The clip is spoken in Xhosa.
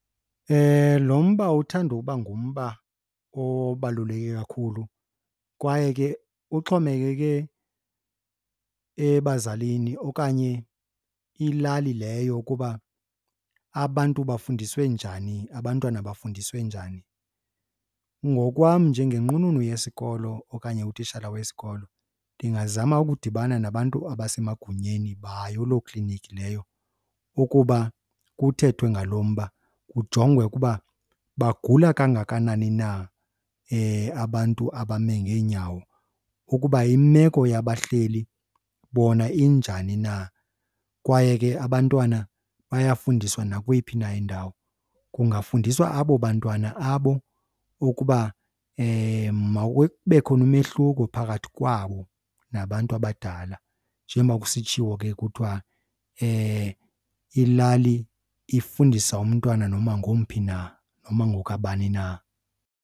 Lo mba uthanda uba ngumba obaluleke kakhulu kwaye ke uxhomekeke ebazalini okanye ilali leyo ukuba abantu bafundiswe njani, abantwana bafundiswe njani. Ngokwam njengenqununu yesikolo okanye utitshala wesikolo, ndingazama ukudibana nabantu abasemagunyeni bayo loo klinikhi leyo ukuba kuthethwe ngalo mba. Kujongwe ukuba bagula kangakanani na abantu abame ngeenyawo, ukuba imeko yabahleli bona injani na kwaye ke abantwana bayafundiswa nakweyiphi na indawo. Kungafundiswa abo bantwana abo ukuba mawube khona umehluko phakathi kwabo nabantu abadala njengoba kusitshiwo ke kuthiwa, ilali ifundisa umntwana noma ngomphi na noma ngokabani na.